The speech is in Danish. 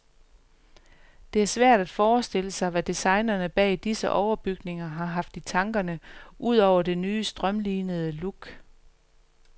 Det er svært at forestille sig, hvad designerne bag disse overbygninger har haft i tankerne ud over det nye strømlinede look.